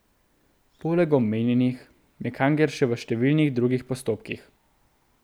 Poleg omenjenih je Kangler še v številnih drugih postopkih.